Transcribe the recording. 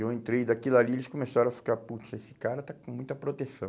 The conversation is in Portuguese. E eu entrei daquilo ali e eles começaram a ficar, putz, esse cara está com muita proteção.